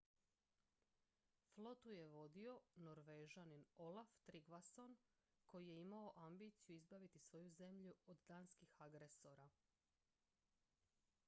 flotu je vodio norvežanin olaf trygvasson koji je imao ambiciju izbaviti svoju zemlju od danskih agresora